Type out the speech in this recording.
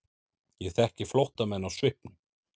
Ég þekki flóttamenn á svipnum.